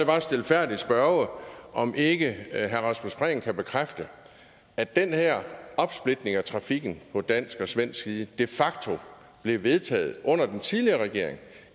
bare stilfærdigt spørge om ikke herre rasmus prehn kan bekræfte at den her opsplitning af trafikken på dansk og svensk side de facto blev vedtaget under den tidligere regering